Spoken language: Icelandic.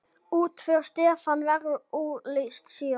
Útför Stefán verður auglýst síðar.